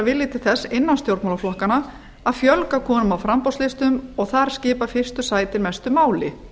vera til þess innan stjórnmálaflokkanna að fjölga konum á framboðslistum og þar skipta fyrstu sæti mestu máli